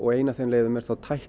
ein af þeim leiðum er